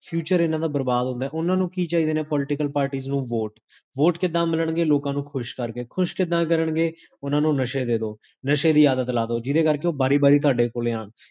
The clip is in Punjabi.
future ਇੰਨਾ ਦਾ ਬਰਬਾਦ ਹੁੰਦੇ, ਓਨਾ ਨੂੰ ਕੀ ਚਾਹੀਦੀਆਂ ਨੇ political parties ਨੂੰ ਵੋਟ ਵੋਟ ਕਿਦਾਂ ਮਿਲਣਗੇ? ਲੋਕਾਂ ਨੂੰ ਖੁਸ਼ ਕਰ ਕੇ ਖੁਸ਼ ਕਿਦਾਂ ਕਰਨਗੇ? ਓਨਾ ਨੂੰ ਨਸ਼ੇ ਦੇਦੋ ਨਸ਼ੇ ਦੀ ਆਦਤ ਲਾ ਦੋ, ਜਿਦੇ ਕਰ ਕੇ ਓਹ ਬਾਰੀ ਬਾਰੀ ਤੁਹਾਡੇ ਕੋਲੇ ਆਨ